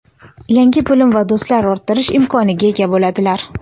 yangi bilim va do‘stlar orttirish imkoniga ega bo‘ladilar.